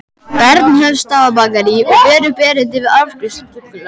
Bernhöftsbakaríi og ber upp erindið við afgreiðslustúlkuna.